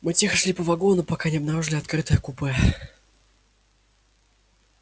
мы тихо шли по вагону пока не обнаружили открытое купе